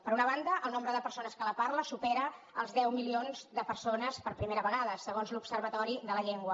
per una banda el nombre de persones que la parla supera els deu milions de persones per primera vegada segons l’observatori de la llengua